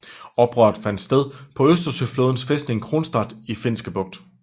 Oprøret fandt sted på Østersøflådens fæstning Kronstadt i Finske bugt